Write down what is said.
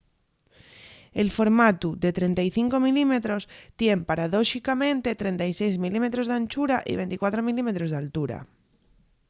el formatu de 35mm tien paradóxicamente 36mm d'anchura y 24mm d'altura